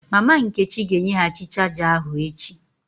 Mama nkechi ga-enyeghachi chaja ahu echi